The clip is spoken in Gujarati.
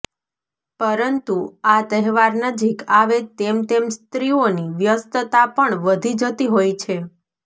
પરંતુ આ તહેવાર નજીક આવે તેમ તેમ સ્ત્રીઓની વ્યસ્તતા પણ વધી જતી હોય છે